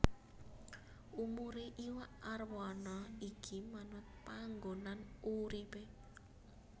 Umurè iwak arwana iki manut panggonan uripè